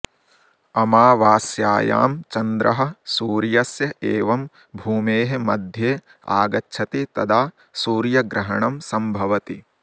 अमावास्यायां चन्द्रः सूर्यस्य एवं भूमेः मध्ये आगच्छति तदा सूर्यग्रहणं सम्भवति